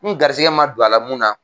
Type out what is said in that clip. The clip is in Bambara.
N garisigɛ ma don a la mun na.